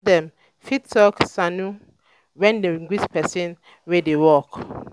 for hausa dem um fit um talk "sannu" when dem greet person wey dey work.